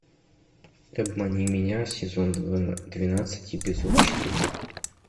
обмани меня сезон двенадцать эпизод четыре